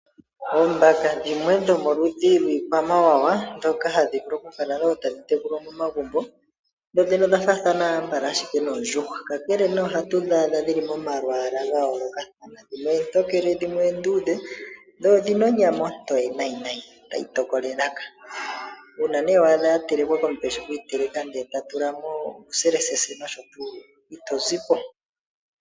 Oombaka dhimwe dhomoludhi dhiikwamawawa ndhoka hadhi vulu okukala tadhi tekulwa momagumbo. Dhodhene odha faathana ambala ashike noondjuhwa. Kakele nee ohatu dhi adha dhi li momalwaala ga yooloka dhimwe oontokele dhimwe oondudhe dho odhi na onyama ontoye, tayi tokola elaka. Uuna ne wa adha dha telekwa komuntu eshi okudhitekela ndele ta tula mo uuselesese nosho tuu ito zi po.